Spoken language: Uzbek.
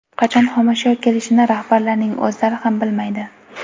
Qachon xomashyo kelishini rahbarlarning o‘zlari ham bilmaydi.